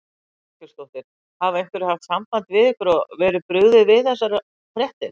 Þórhildur Þorkelsdóttir: Hafa einhverjir haft samband við ykkur og verið brugðið við þessar fréttir?